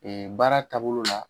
E baara taabolo la